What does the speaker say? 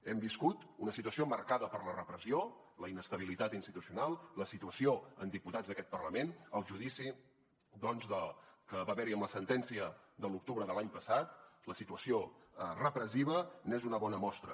hem viscut una situació marcada per la repressió la inestabilitat institucional la situació de diputats d’aquest parlament el judici doncs que va haver hi amb la sentència de l’octubre de l’any passat la situació repressiva n’és una bona mostra